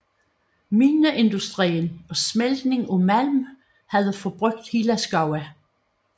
Mineindustrien og smeltning af malm havde forbrugt hele skove